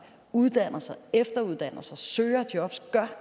uddanner sig efteruddanner sig søger jobs gør